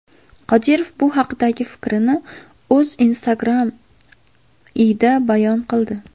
Qodirov bu haqdagi fikrini o‘z Instagram ’ida bayon qildi.